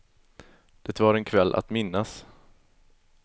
Det var en kväll att minnas.